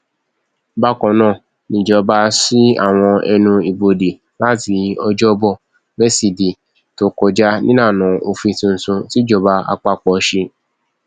bákan náà nìjọba sí àwọn ẹnu ibodè láti ọjọbọ wesidee tó kọjá nílànà òfin tuntun tìjọba àpapọ ṣe